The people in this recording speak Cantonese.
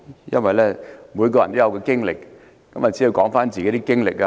因為每個人都有自己的經歷，只要說出自己的經歷便可。